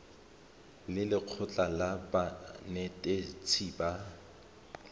le lekgotlha la banetetshi ba